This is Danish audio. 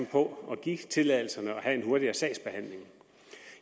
på at give tilladelserne og have en hurtigere sagsbehandling